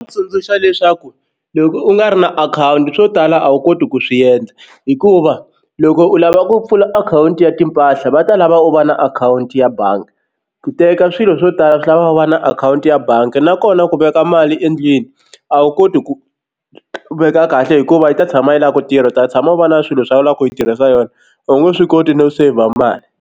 Tsundzuxa leswaku loko u nga ri na akhawunti swo tala a wu koti ku swi endla hikuva loko u lava ku pfula akhawunti ya timpahla va ta lava u va na akhawunti ya bangi ku teka swilo swo tala swi lava u va na akhawunti ya bangi nakona ku veka mali endlwini a wu koti ku veka kahle hikuva yi ta tshama yi lava ku tirha u ta tshama u va na swilo swa ku lava ku yi tirhisa yona a wu nge swi koti no saver mali.